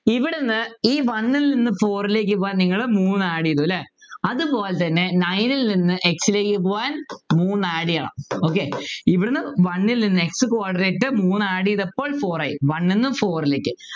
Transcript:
ഇവിടുന്ന് ഈ One ൽ നിന്ന് Four ലേക്ക് പോകാൻ നിങ്ങളെ മൂന്ന് add ചെയ്തു അല്ലേ അതുപോലെതന്നെ nine ൽനിന്ന് x ലേക്ക് പോവാൻ മൂന്നു add ചെയ്യണം okay ഇവിടെനിന്ന് one ൽ നിന്ന് x coordinate മൂന്ന് add ചെയ്തപ്പോൾ Four ആയി One ന്നും Four ലേക്കായി